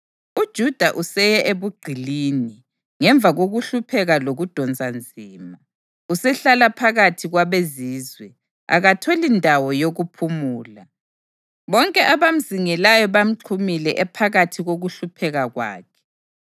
UJuda useye ebugqilini ngemva kokuhlupheka lokudonsa nzima. Usehlala phakathi kwabezizwe; akatholi ndawo yokuphumula. Bonke abamzingelayo bamxhumile ephakathi kokuhlupheka kwakhe.